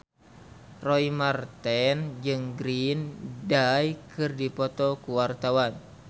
Roy Marten jeung Green Day keur dipoto ku wartawan